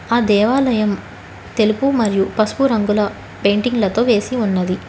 ఆ దేవాలయం తెలుపు మరియు పసుపు రంగుల పెయింటింగ్ లతో వేసి ఉన్నవి.